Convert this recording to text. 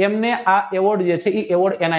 તેમને આ